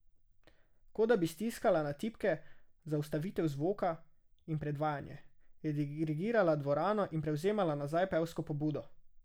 Kot da bi stiskala na tipke za ustavitev zvoka in predvajanje, je dirigirala dvorano in prevzemala nazaj pevsko pobudo.